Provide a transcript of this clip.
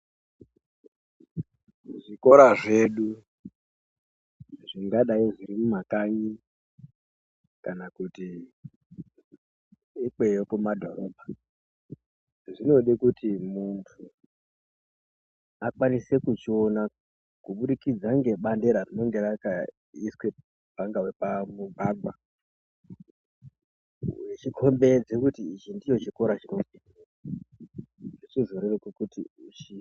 Zvikora zvedu zvingadai zviri mumakanyi kana kuti ikweyo kumadhorobha zvinode kuti muntu akwanise kuchiona kubudikidza ngebandera rinenga rakaiswe pangawe pamugwagwa wechikombedza kuti ichi ndicho chikora chinodzidzirwa , zvichizooneka kuti.